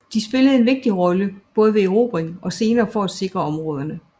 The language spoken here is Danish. De spillede en vigtig rolle både ved erobring og senere for at sikre områderne